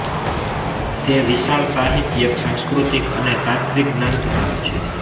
તે વિશાળ સાહિત્યિક સાંસ્કૃતિક અને તાત્ત્વિક જ્ઞાન ધરાવે છે